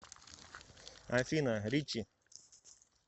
афина ричи